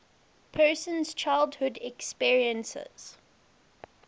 person's childhood experiences